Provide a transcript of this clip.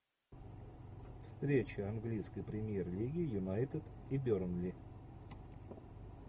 встреча английской премьер лиги юнайтед и бернли